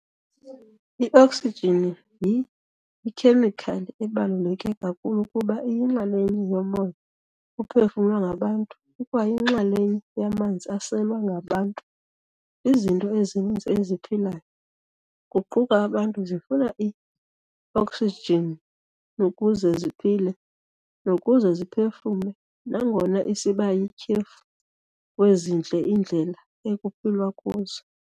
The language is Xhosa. I-Oxygen yi-Ikhemikhali ebaluleke kakhulu kuba iyinxalenye yomoya ophefumlwa ngabantu ikwayinxalenye yamanzi aselwa ngabantu. Izinto ezininzi eziphilayo, kuquka abantu zifuna i-oxygenukuze ziphile nokuze ziphefumle, nangona isibayityhefu kwezindle iindlela ekuphilwa kuzo.